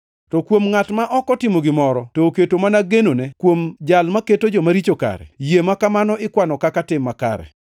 To kuom ngʼat ma ok otimo gimoro, to oketo mana genone kuom Jal maketo jomaricho kare, yie ma kamano ikwano kaka tim makare.